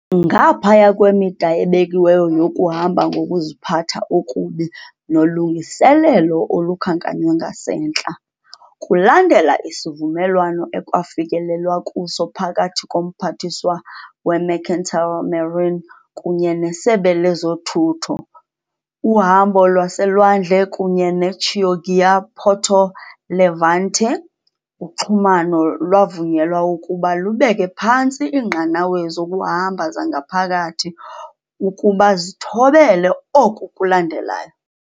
Ngaphaya kwemida ebekiweyo yokuhamba ngokuziphatha okubi nolungiselelo olukhankanywa ngasentla, kulandela isivumelwano ekwafikelelwa kuso phakathi koMphathiswa we-Mercantile Marine kunye neSebe lezoThutho, uhambo lwaselwandle kunye ne-Chioggia-Porto Levante uxhumano lwavunyelwa ukuba lubeke phantsi iinqanawa zokuhamba zangaphakathi ukuba zithobele oku kulandelayo.